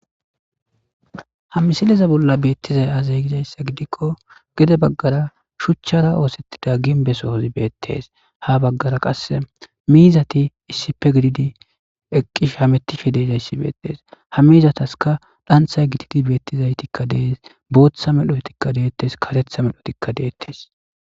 Haa missileza bolla betizayi azee gikko gede bagara shuchchara oththettida ginbbe sozi betees.haa bagara qase mizatti issippe gididi eqishshe hamettizayissa betees.haamizataskka dhanththayi gitati betizayi betees.boththa medhdhotikka detees . kareththa medhdhottikka detees.